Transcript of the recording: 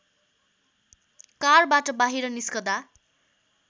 कारबाट बाहिर निस्कँदा